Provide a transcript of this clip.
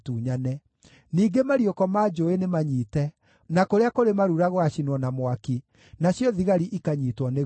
ningĩ mariũko ma njũũĩ nĩmanyiite, na kũrĩa kũrĩ marura gũgaacinwo na mwaki, nacio thigari ikanyiitwo nĩ guoya.”